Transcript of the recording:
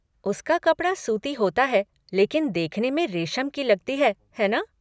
उसका कपड़ा सूती होता है लेकिन देखने में रेशम की लगती है, है ना?